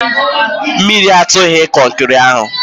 Mmiri atụghị kọnkịrị ahụ